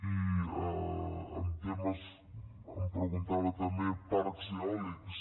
i em preguntava també parcs eòlics